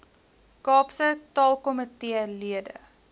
kaapse taalkomitee lede